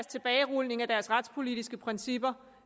tilbagerulningen af deres retspolitiske principper